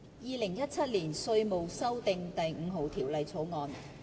《2017年稅務條例草案》。